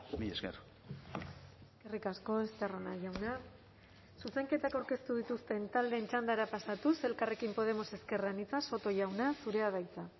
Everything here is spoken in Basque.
mila esker eskerrik asko estarrona jauna zuzenketak aurkeztu dituzten taldeen txandara pasatuz elkarrekin podemos ezker anitza soto jauna zurea da hitza